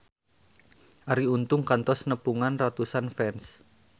Arie Untung kantos nepungan ratusan fans